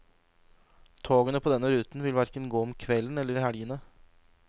Togene på denne ruten vil hverken gå om kvelden eller i helgene.